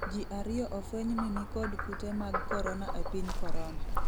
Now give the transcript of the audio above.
ji ariyo ofweny ni nikod kute mag korona e piny korona